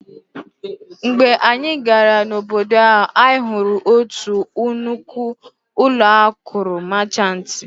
Mgbe anyị gara obodo ahụ, anyị hụrụ otu nnukwu ụlọ akụ Máchanti